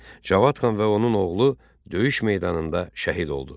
Cavad xan və onun oğlu döyüş meydanında şəhid oldu.